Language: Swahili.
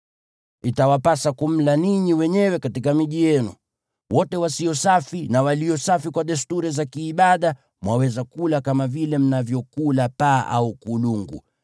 Itawapasa kumla ninyi wenyewe katika miji yenu. Wote wasio safi na walio safi kwa desturi za kiibada mwaweza kula kama vile mnavyokula paa au kulungu.